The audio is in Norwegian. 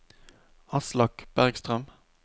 Aslak Bergstrøm